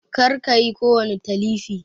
Kar kayi kowani Talifi!